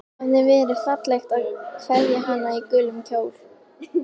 Það hafði verið fallegt að kveðja hana í gulum kjól.